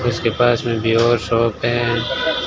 इसके पास में भी और शॉप है।